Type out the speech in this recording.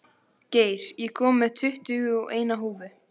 Geir, ég kom með tuttugu og eina húfur!